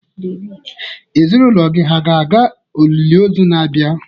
Ezinụlọ gị hà ga-aga olili ozu na-abịa?